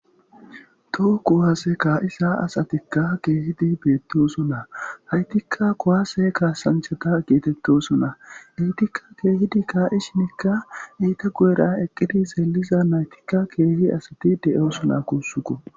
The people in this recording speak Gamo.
Toho kuhaase kaa'isa asatikka keehidi beettosu naa haytikka kowaase kaasanchata geetettosunaa eetikka keehidi shinikka eyta gu'era eqqidi seeliza naytikka keehi asati de'osuna kuussuko.